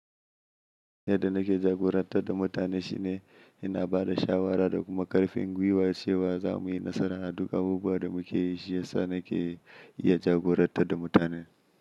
Yadda nake jagorantar da mutane shine ina ba da shawara da kuma ƙarfin gwiwa cewa za mu yi nasara a duk abubuwan da muke yi, shi yasa nake iya jagorantar da mutane.